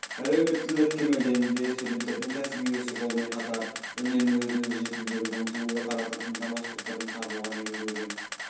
әлеуметтілік кемелденуде студенттердің кәсіби өсу жолымен қатар үнемі өзін-өзі жетілдіруге ұмтылуды қарастыратын даму аспектілерін табуға негізделген